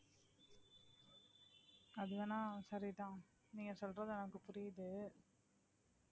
அது வேணா சரிதான் நீங்க சொல்றது எனக்கு புரியுது